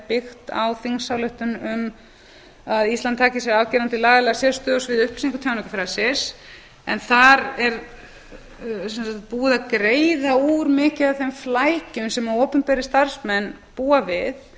byggt á þingsályktun um að íslandi taki sér afgerandi lagalega sérstöðu á sviði upplýsinga og tjáningarfrelsis þar er sem sagt búið að greiða úr miklu af þeim flækjum sem opinberir starfsmenn búa við